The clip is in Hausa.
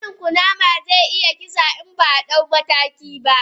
Danin kunama ze iya kisa in baa dau mataki ba.